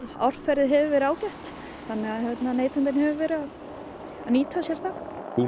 árferðið hefur verið ágætt þannig að neytendinn hefur verið að nýta sér það hún